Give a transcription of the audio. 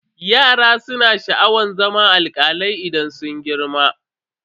Yaran su na sha'awar zama alkalai idan sun girma.